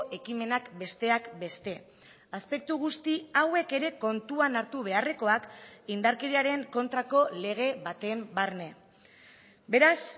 ekimenak besteak beste aspektu guzti hauek ere kontuan hartu beharrekoak indarkeriaren kontrako lege baten barne beraz